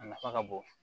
A nafa ka bon